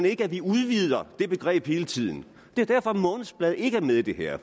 ikke at vi udvider det begreb hele tiden det er derfor månedsblade ikke er med i det her